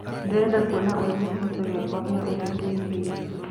ndĩrenda kũona ũrĩa gichichio giakwa giaũtherĩ gĩĩkarie